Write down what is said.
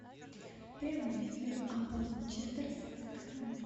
прямой эфир апл манчестер с вест хэмом